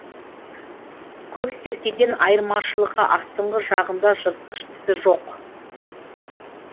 көксеркеден айырмашылығы астынғы жағында жыртқыш тісі жоқ